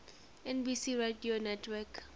nbc radio network